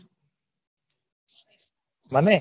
મને